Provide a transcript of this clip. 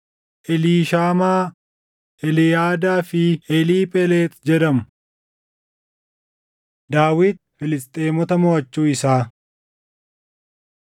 Eliishaamaa, Eliyaadaa fi Eliiphelexi jedhamu. Daawit Filisxeemota Moʼachuu Isaa 5:17‑25 kwf – 1Sn 14:8‑17